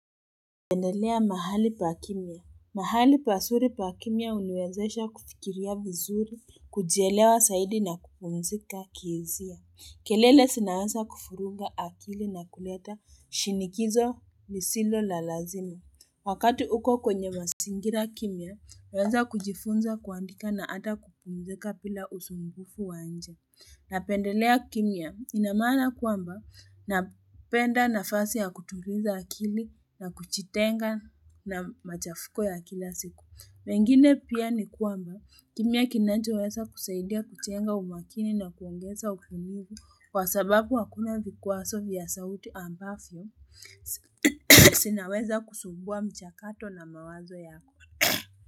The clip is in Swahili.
Nependelea mahali pa kimya. Mahali pazuri pa kimya huniwezesha kufikiria vizuri, kujielewa zaidi na kupumzika kizia. Kelele zinaweza kufurunga akili na kuleta shinikizo ni silo la lazini. Wakati uko kwenye mazingira kimya, huweza kujifunza kuandika na ata kupumzika bila usumbufu wanja. Napendelea kimya ina maana kwamba napenda nafasi ya kutuliza akili na kujitenga na machafuko ya kila siku. Mengine pia ni kwamba kimya kinanchoweza kusaidia kuchenga umakini na kuongeza ufumigu kwa sababu wakuna vikuwaso vya sauti ambavyo zinaweza kusumbua mchakato na mawazo yako.